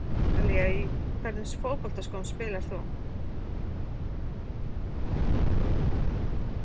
Ætli það hafi ekki verið Ísland-Ítalía Í hvernig fótboltaskóm spilar þú?